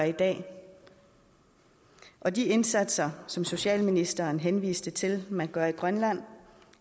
i dag og de indsatser som socialministeren henviste til man gør i grønland